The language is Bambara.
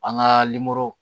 An ka